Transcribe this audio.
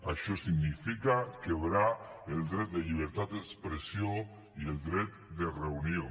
això significa quebrar el dret de llibertat d’expressió i el dret de reunió